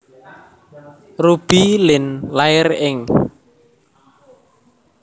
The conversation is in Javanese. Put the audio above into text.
Ruby Lin lair ing